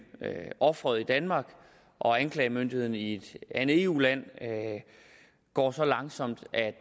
offeret i danmark og anklagemyndigheden i et andet eu land går så langsomt at